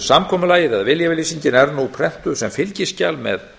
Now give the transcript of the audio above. samkomulagið eða viljayfirlýsingin er nú prentuð sem fylgiskjal með